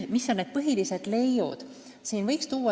Mis on põhilised leiud?